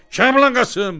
Kəblə Qasım!